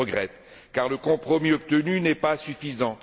Je le regrette, car le compromis obtenu n'est pas suffisant.